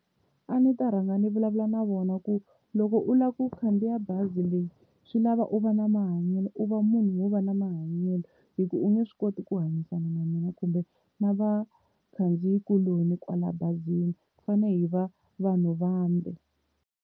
A ndzi ta rhanga ndzi vulavula na vona ku loko u lava ku khandziya bazi leyi swi lava u va na mahanyelo u va munhu wo va na mahanyelo, hi ku u nge swi koti ku hanyisana na mina kumbe na vakhandziyi kuloni kwala bazini hi fanele hi va vanhu vambe.